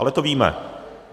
Ale to víme.